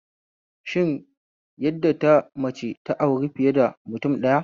Shin an yadda da mace ta auri fiye da mutum ɗaya?